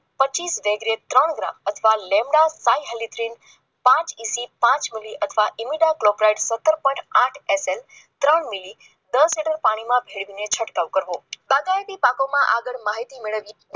પચીસ એટલે ત્રણ ગ્રામ અથવા લેમડા પનસો મિલે પાંચ મિલે રાઇડર પોઇન્ટ પાંચ મિનિટ પાણીમાં ભેળવીને છંટકાવ કરવો પાકોમાં આગળ માહિતી મેળવવી